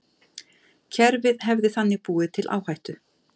Kerfið hefði þannig búið til áhættu